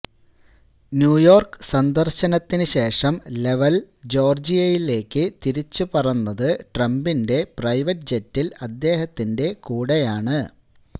New York സന്ദര്ശനത്തിന് ശേഷം ലെവല് ജോര്ജിയയിലേയ്ക്ക് തിരിച്ചു പറന്നത് ട്രംപിന്റെ പ്രൈവറ്റ് ജെറ്റില് അദ്ദേഹത്തിന്റെ കൂടെയാണ്